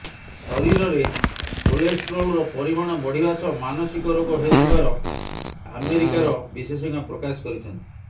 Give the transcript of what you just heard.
ଶରୀରରେ କୋଲେଷ୍ଟ୍ରୋଲର ପରିମାଣ ବଢିବା ସହ ମାନସିକ ରୋଗ ହେଉଥିବାର ଆମେରିକାର ବିଶେଷଜ୍ଞ ପ୍ରକାଶ କରିଛନ୍ତି